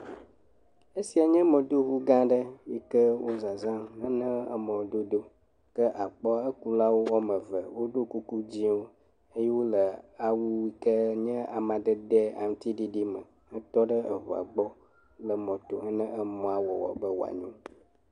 Esia nye mɔdoŋugãa aɖe si wo zazãm hena mɔdodo. Ke akpɔ ekulawo woame ve. Wodo kuku dzɛ̃wo eye wole awu yi ke nye amadede aŋutiɖiɖi me hetɔ ɖe eŋua gbɔ le mɔto hena emɔa wɔwɔ be wòanyo.